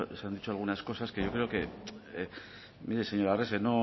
se han dicho algunas cosas que yo creo que mire señor arrese